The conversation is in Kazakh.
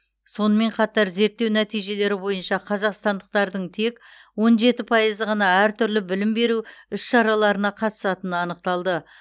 сонымен қатар зерттеу нәтижелері бойынша қазақстандықтардың тек он жеті пайыз ғана әртүрлі білім беру іс шараларына қатысатыны анықталды